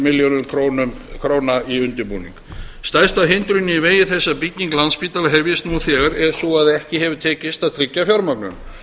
milljörðum króna í undirbúning stærsta hindrunin í vegi þess að bygging landspítala hefjist nú þegar er sú að ekki hefur tekist að tryggja fjármögnun